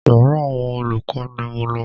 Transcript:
Yàrá àwọn olùkọ́ ni mo lọ.